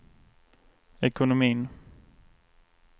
ekonomin